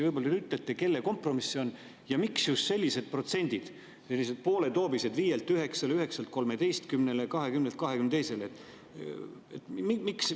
Võib‑olla ütlete, kelle kompromiss see on ja miks just sellised pooletoobised protsendid: 5‑lt 9‑le, 9‑lt 13‑le, 20‑lt 22‑le?